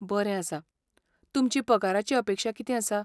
बरें आसा, तुमची पगाराची अपेक्षा कितें आसा?